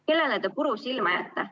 Kellele te puru silma ajate?